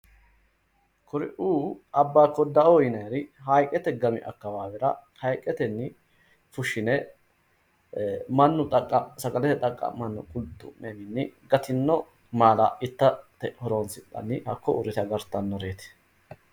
Kuri"uu abbaa koddaoo yinayiiri haayiiqete gami akkawaawera haayiiqetenni fushshine mannu xaqqa'me sagalete xaqqa'manno qulxxu'mewiinni gatino maala itate horoonsidhanni hakko uurrite agartannoreti.